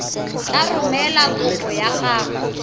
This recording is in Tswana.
tla romela kopo ya gago